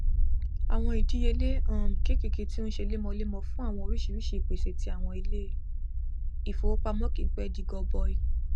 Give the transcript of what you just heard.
àwọn ìdíyelé um kékèké tí ó n ṣe lemọlemọ fún àwọn oríṣiríṣi ìpèsè ti àwọn ilé ìfowópamọ kìí pẹ di gọbọi